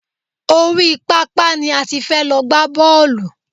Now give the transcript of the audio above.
Orí pápá ni a ti fẹ́ lọ gbá bọ́ọ̀lù.